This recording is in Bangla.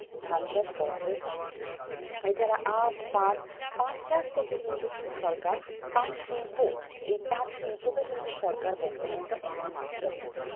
ধান চাষ করা হয়ে থাকছে। এছাড়া আখ, পাট, পাট চাষ থেকে কিন্তু সরকার পাট শিল্প, এই পাট শিল্পকে কিন্তু সরকার বর্তমানে একটা অন্যমাত্রা দিচ্ছে।